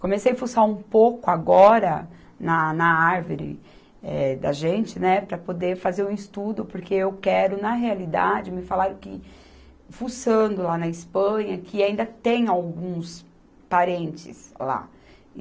Comecei fuçar um pouco agora na, na árvore, eh, da gente, né, para poder fazer um estudo, porque eu quero, na realidade, me falaram que fuçando lá na Espanha, que ainda tem alguns parentes lá.